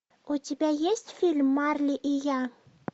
у тебя есть фильм марли и я